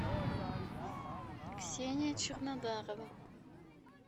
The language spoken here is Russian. ксения чернодарова